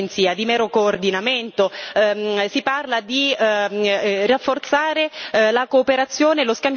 Si parla di rafforzare la cooperazione e lo scambio di informazioni, che tipo di informazioni?